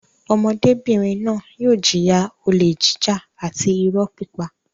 Ọmọdébìnrin náà yóò jìyà olè jíjà àti ìrọ́ pípa.